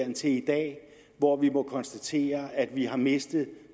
indtil i dag hvor vi må konstatere at vi har mistet